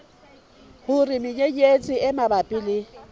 hore menyenyetsi e mabapi le